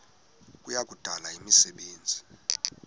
kuya kudala imisebenzi